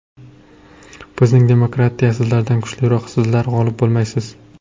Bizning demokratiya sizlardan kuchliroq, sizlar g‘olib bo‘lmaysiz!